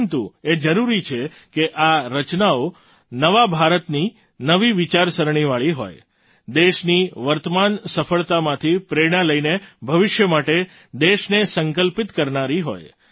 પરંતુ એ જરૂરી છે કે આ રચનાઓ નવા ભારતની નવી વિચારસરણીવાળી હોય દેશની વર્તમાન સફળતામાંથી પ્રેરણા લઈને ભવિષ્ય માટે દેશને સંકલ્પિત કરનારી હોય